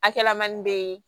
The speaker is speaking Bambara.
A kɛla manin be ye